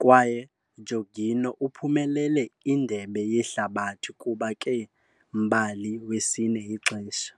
kwaye Jorginho uphumelele Indebe Yehlabathi kuba ke-mbali wesine ixesha.